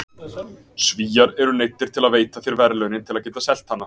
Svíar eru neyddir til að veita þér verðlaunin til að geta selt hana.